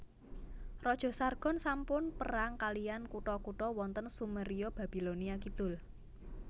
Raja Sargon sampun perang kaliyan kutha kutha wonten Sumeria Babilonia Kidul